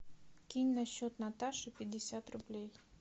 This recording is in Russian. кинь на счет наташи пятьдесят рублей